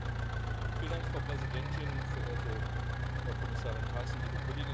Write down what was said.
Frau Präsidentin, verehrte Frau Kommissarin Thyssen, liebe Kolleginnen und Kollegen!